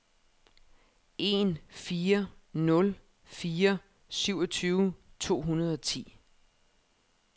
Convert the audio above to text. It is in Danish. en fire nul fire syvogtyve to hundrede og ti